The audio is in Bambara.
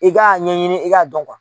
I kaa ɲɛɲini i k'a dɔn